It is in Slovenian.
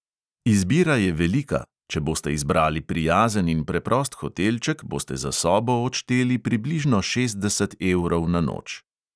Izbira je velika – če boste izbrali prijazen in preprost hotelček, boste za sobo odšteli približno šestdeset evrov na noč